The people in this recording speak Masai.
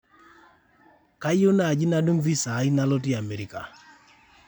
kayieu naaji nadung visa aai nalotie America